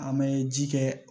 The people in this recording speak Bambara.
An bɛ ji kɛ